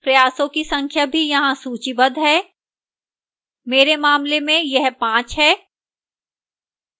प्रयासों की संख्या भी यहाँ सूचीबद्ध है मेरे मामले में यह 5 है